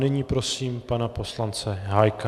Nyní prosím pana poslance Hájka.